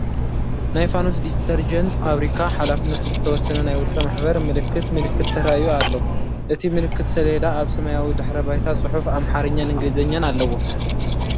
ናይ ፋኖስ ዲተርጀንት ፋብሪካ ሓ/ዝ/ ናይ ውልቀ ማሕበር ምልክት ምልክት ተራእዩ ኣሎ። እቲ ምልክት ሰሌዳ ኣብ ሰማያዊ ድሕረ ባይታ ጽሑፍ ኣምሓርኛን እንግሊዝኛን ኣለዎ።